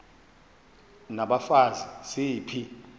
n abafazi ziphi